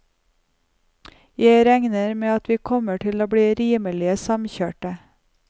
Jeg regner med at vi kommer til å bli rimelig samkjørte.